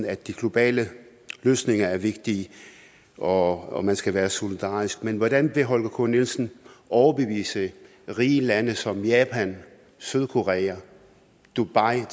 at de globale løsninger er vigtige og at man skal være solidarisk men hvordan vil herre holger k nielsen overbevise rige lande som japan sydkorea og dubai om